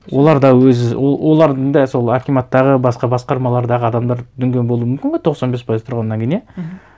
олар да өз олардың да сол акиматтағы басқа басқармалардағы адамдар дүнген болуы мүмкін ғой тоқсан бес пайыз тұрғаннан кейін иә мхм